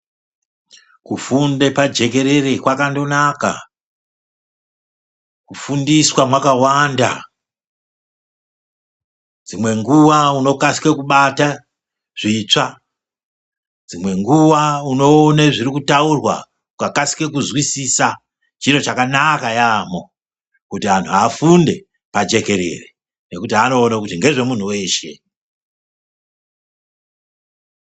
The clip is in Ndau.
Kufunde pajekerere kwakandonaka. Kufundiswa mwakawanda dzimwenguwa unokasike kubasa zvitsva, dzimwe nguwa unoone zvirikutaurwa ukakasike kuzwisisa. Chiro chakanaka yaamho kuti anhu afunde pajekerere nekuti anoone kuti ngezvemunhu weshe.